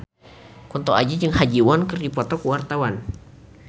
Kunto Aji jeung Ha Ji Won keur dipoto ku wartawan